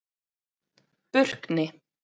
Burkni